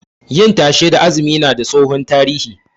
Yin tashe da azumi na da tsohon tarihi